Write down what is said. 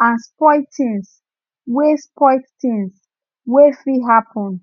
and spoilt tins wey spoilt tins wey fit happen